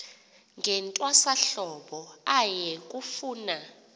ngentwasahlobo aye kufuna